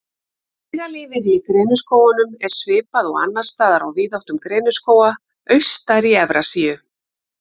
Dýralífið Í greniskógunum er svipað og annars staðar á víðáttum greniskóga austar í Evrasíu.